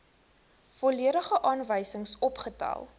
volledige aanwysings opgestel